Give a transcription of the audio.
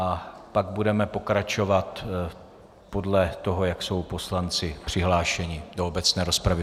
A pak budeme pokračovat podle toho, jak jsou poslanci přihlášeni do obecné rozpravy.